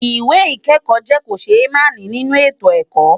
Ìwé ìkẹ́kọ̀ọ́ jẹ́ kòṣémààní nínú ètò ẹ̀kọ́.